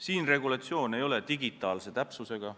See regulatsioon ei ole digitaalse täpsusega,